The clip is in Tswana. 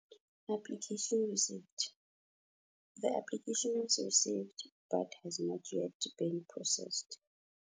Application received. The application was received, but has not yet been processed.